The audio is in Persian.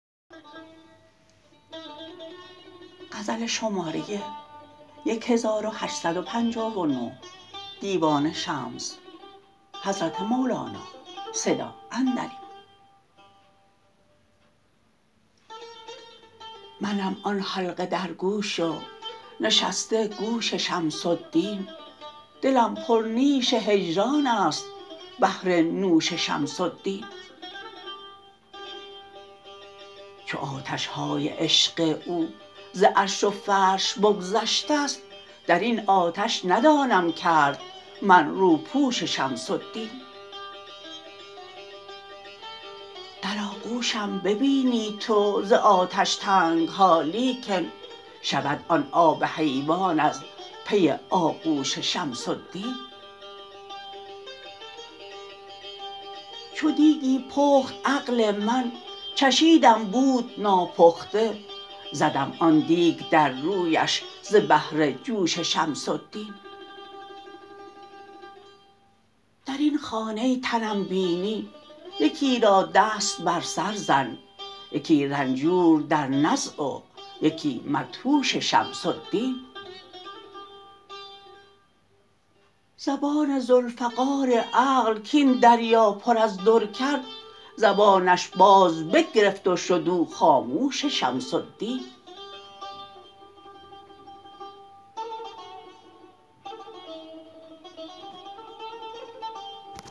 منم آن حلقه در گوش و نشسته گوش شمس الدین دلم پرنیش هجران است بهر نوش شمس الدین چو آتش های عشق او ز عرش و فرش بگذشته ست در این آتش ندانم کرد من روپوش شمس الدین در آغوشم ببینی تو ز آتش تنگ ها لیکن شود آن آب حیوان از پی آغوش شمس الدین چو دیکی پخت عقل من چشیدم بود ناپخته زدم آن دیک در رویش ز بهر جوش شمس الدین در این خانه تنم بینی یکی را دست بر سر زن یکی رنجور در نزع و یکی مدهوش شمس الدین زبان ذوالفقار عقل کاین دریا پر از در کرد زبانش بازبگرفت و شد او خاموش شمس الدین